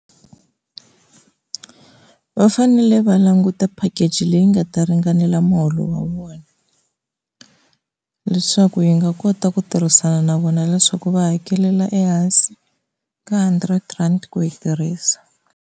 Va fanele va languta package leyi nga ta ringanela muholo wa vona, leswaku yi nga kota ku tirhisana na vona leswaku va hakelela ehansi ka hundred rand ku yi tirhisa.